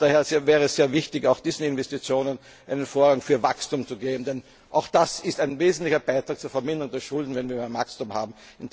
Daher wäre es sehr wichtig, auch diesen Investitionen einen Vorrang für Wachstum zu geben, denn auch das ist ein wesentlicher Beitrag zur Verminderung der Schulden, wenn wir Wachstum haben.